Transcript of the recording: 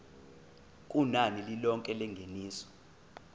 kunani lilonke lengeniso